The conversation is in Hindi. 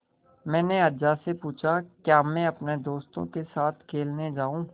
मैंने अज्जा से पूछा क्या मैं अपने दोस्तों के साथ खेलने जाऊँ